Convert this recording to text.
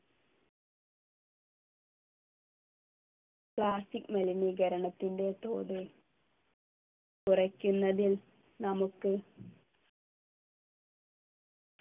plastic മലിനീകരണത്തിൻ്റെ തോത് കുറയ്ക്കുന്നതിൽ നമുക്ക്